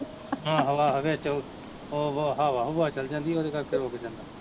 ਆਹੋ ਆਹੋ ਵਿੱਚ ਓ, ਓਹ ਹਵਾ ਹੁਵਾ ਚੱਲ ਜਾਂਦੀ ਉਹਦੇ ਕਰਕੇ ਰੁਕ ਜਾਂਦਾ